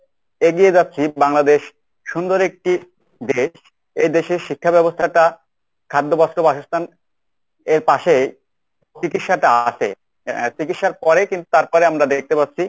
এগিয়ে যাচ্ছি বাংলাদেশ সুন্দর একটি দেশ। এদেশের শিক্ষাব্যবস্থাটা খাদ্য, বস্ত্র, বাসস্থান এর পাশে চিকিৎসাটা আছে এর চিকিৎসার পরেই কিন্তু তারপরে আমরা দেখতে পাচ্ছি